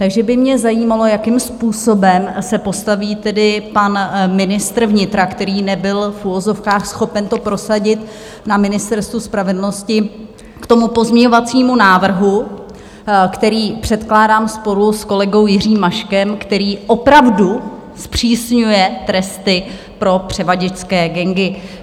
Takže by mě zajímalo, jakým způsobem se postaví tedy pan ministr vnitra, který nebyl v uvozovkách schopen to prosadit na Ministerstvu spravedlnosti, k tomu pozměňovacímu návrhu, který předkládám sporu s kolegou Jiřím Maškem, který opravdu zpřísňuje tresty pro převaděčské gangy.